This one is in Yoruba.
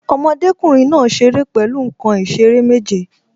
Ọmọdékùnrin náà ṣeré pẹ̀lú nǹkan ìṣeré méje